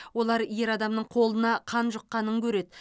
олар ер адамның қолына қан жұққанын көреді